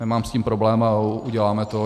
Nemám s tím problém a uděláme to.